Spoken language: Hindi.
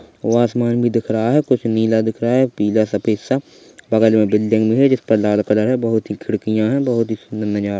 ओर आसमान भी दिख रहा है कुछ नीला दिख रहा है पीला सफेद सा बगल में एक बिल्डिंग है जिस पर लाल कलर है बहुत ही खिड़कियाँ है बहुत ही सुंदर नज़ारा--